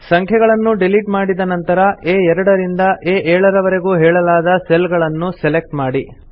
ಸಂಖ್ಯೆಗಳನ್ನು ಡಿಲೀಟ್ ಮಾಡಿದ ನಂತರ ಆ2 ರಿಂದ ಆ7 ವರೆಗೂ ಹೇಳಲಾದ ಸೆಲ್ ಗಳನ್ನು ಸೆಲೆಕ್ಟ್ ಮಾಡಿ